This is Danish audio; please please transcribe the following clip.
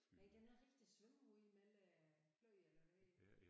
Nej den har rigtig svømmehud mellem kløerne og det hele